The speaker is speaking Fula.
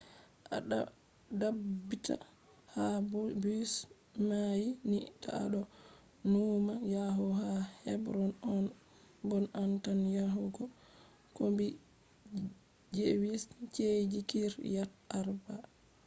a dabbita ha bus mai ni ta a do nuuma yahugo ha hebron on bon a tan yahugo kombi jewish ci’eji kiryat arba